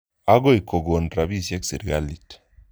Akoi kokon rapisyek sirikalit.